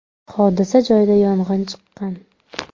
Hodisa joyida yong‘in chiqqan.